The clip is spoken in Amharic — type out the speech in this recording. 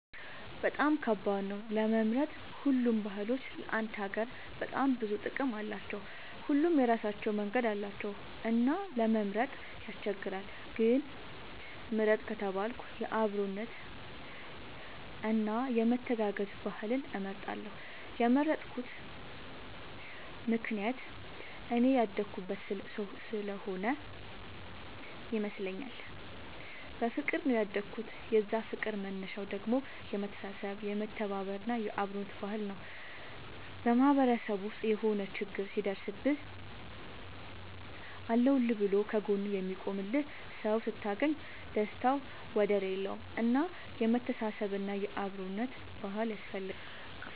በጣም ከባድ ነው ለመምረጥ ሁሉም ባህሎች ለአንድ ሀገር በጣም ብዙ ጥቅም አላቸው። ሁሉም የራሳቸው መንገድ አላቸው እና ለመምረጥ ያስቸግራል። ግን ምርጥ ከተባልኩ የአብሮነት እና የመተጋገዝ ባህልን እመርጣለሁ የመረጥኩት ምክንያት እኔ ያደኩበት ስሆነ ይመስለኛል። በፍቅር ነው ያደኩት የዛ ፍቅር መነሻው ደግሞ የመተሳሰብ የመተባበር እና የአብሮነት ባህል ነው። በማህበረሰብ ውስጥ የሆነ ችግር ሲደርስብህ አለሁልህ ብሎ ከ ጎንህ የሚቆምልህ ሰው ስታገኝ ደስታው ወደር የለውም። እና የመተሳሰብ እና የአብሮነት ባህል ያስፈልጋል